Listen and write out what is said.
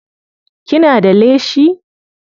Kina da leshi?